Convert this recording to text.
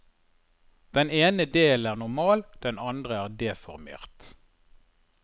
Den ene delen er normal, den andre er deformert.